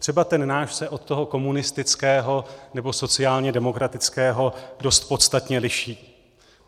Třeba ten náš se od toho komunistického nebo sociálně demokratického dost podstatně liší.